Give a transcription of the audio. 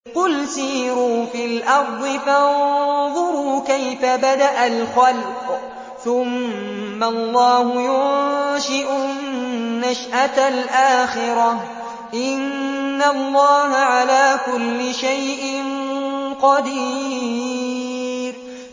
قُلْ سِيرُوا فِي الْأَرْضِ فَانظُرُوا كَيْفَ بَدَأَ الْخَلْقَ ۚ ثُمَّ اللَّهُ يُنشِئُ النَّشْأَةَ الْآخِرَةَ ۚ إِنَّ اللَّهَ عَلَىٰ كُلِّ شَيْءٍ قَدِيرٌ